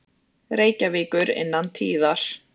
Reykjavíkur innan tíðar.